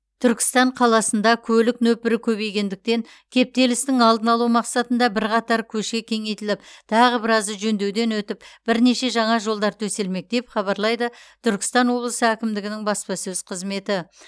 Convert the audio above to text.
түркістан қаласында көлік нөпірі көбейгендіктен кептелістің алдын алу мақсатында бірқатар көше кеңейтіліп тағы біразы жөндеуден өтіп бірнеше жаңа жолдар төселмек деп хабарлайды түркістан облысы әкімдігінің баспасөз қызметі